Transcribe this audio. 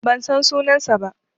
Ban san sunansa ba.